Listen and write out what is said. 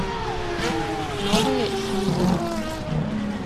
новые снегири